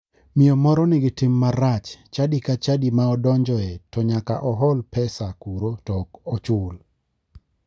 Miyo moro nigi tim marach, chadi ka chadi ma odonjoe to nyaka ohol pesa kuro to ok ochul.